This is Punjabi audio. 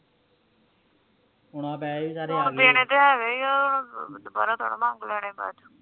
ਹੁਣ ਆ ਪੈਸੇ ਹੁਣ ਦੇਣੇ ਤਾ ਹੈਗੇ ਆ ਦੁਬਾਰਾ ਤਾ ਨੀ ਮੰਗ ਲੈਂਦੇ ਬਾਦ ਚ